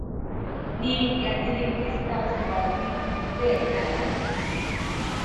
ni ìyá délé ń gé sítáòtú tá a wí yìí bẹẹ ní aláàjì